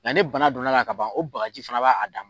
Nka ne bana donna la ka ban o bagaji fana b'a a dan